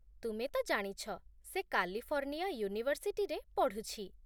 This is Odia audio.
ତୁମେ ତ ଜାଣିଛ, ସେ କାଲିଫର୍ଣ୍ଣିଆ ୟୁନିଭର୍ସିଟିରେ ପଢ଼ୁଛି